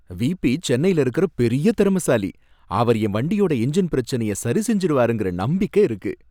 VP சென்னைல இருக்கற பெரிய திறமசாலி, அவரு என்வண்டியோட என்ஜின் பிரச்சனைய சரிசெஞ்சிடுவாருனுங்கற நம்பிக்கை இருக்கு.